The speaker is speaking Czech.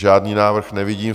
Žádný návrh nevidím.